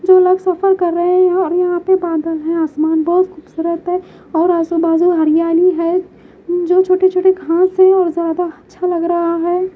जो लोग सफर कर रहे हैं यहां और यहां पे बादल हैं आसमान बहुत खूबसूरत है और आजू बाजू हरियाली है जो छोटे छोटे घास हैं और ज्यादा अच्छा लग रहा है।